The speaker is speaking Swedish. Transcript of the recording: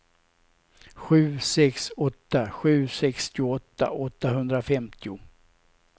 sju sex åtta sju sextioåtta åttahundrafemtio